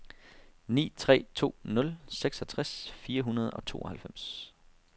ni tre to nul seksogtres fire hundrede og tooghalvfems